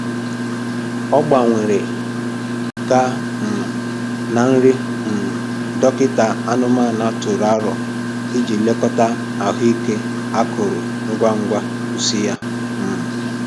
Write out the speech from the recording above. Ọ gbanwere gaa um na nri um dọkịta anụmanụ tụrụ aro iji lekọta ahụ ike akụrụ ngwa ngwa pusi ya um